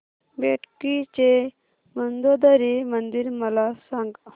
बेटकी चे मंदोदरी मंदिर मला सांग